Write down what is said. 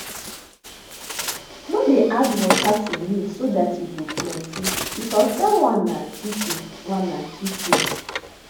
no dey add water to milk so dat e go plenty because dat one na cheating one na cheating